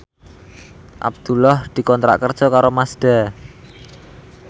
Abdullah dikontrak kerja karo Mazda